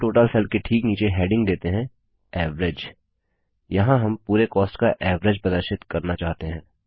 सुम total cell के ठीक नीचे हेडिंग देते हैं एवरेज यहाँ हम पूरे कॉस्ट का एवरेज प्रदर्शित करना चाहते हैं